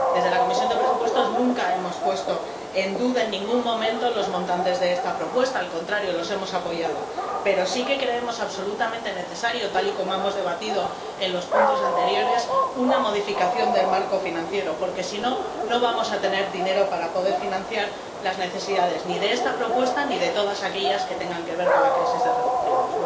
Desde la Comisión de Presupuestos nunca hemos puesto en duda, en ningún momento, los montantes de esta propuesta —al contrario, los hemos apoyado—, pero sí que creemos absolutamente necesaria, tal y como hemos debatido en los puntos anteriores, una modificación del marco financiero porque, si no, no vamos a tener dinero para poder financiar las necesidades ni de esta propuesta ni de todas aquellas que tengan que ver con la crisis de los refugiados.